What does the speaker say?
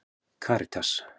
Karítas